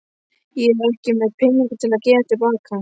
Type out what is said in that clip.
Ég er ekki með peninga til að gefa til baka.